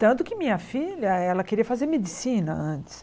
Tanto que minha filha, ela queria fazer medicina antes.